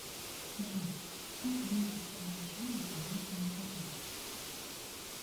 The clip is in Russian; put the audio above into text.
джой как выйти в приложение по новому паролю